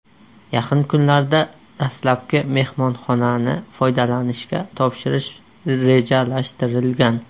Yaqin kunlarda dastlabki mehmonxonani foydalanishga topshirish rejalashtirilgan.